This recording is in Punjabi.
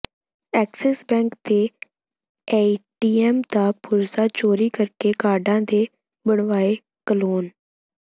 ਐਕਸਿਸ ਬੈਂਕ ਦੇ ਏਟੀਐੱਮ ਦਾ ਪੁਰਜ਼ਾ ਚੋਰੀ ਕਰਕੇ ਕਾਰਡਾਂ ਦੇ ਬਣਵਾਏ ਕਲੋਨ